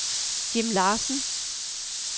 Jim Larsen